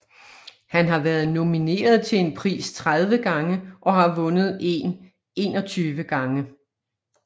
Han har været nomineret til en pris 30 gange og har vundet en 21 gange